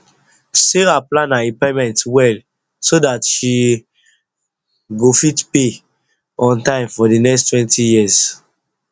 sarah plan her repayment well so that she go fit pay on time for the nexttwentyyears